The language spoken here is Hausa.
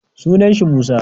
Sunan sa Musa.